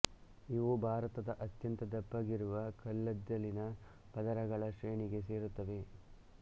ಇವು ಭಾರತದ ಅತ್ಯಂತ ದಪ್ಪಗಿರುವ ಕಲ್ಲಿದ್ದಲಿನ ಪದರಗಳ ಶ್ರೇಣಿಗೆ ಸೇರುತ್ತವೆ